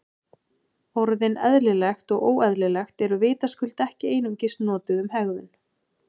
Orðin eðlilegt og óeðlilegt eru vitaskuld ekki einungis notuð um hegðun.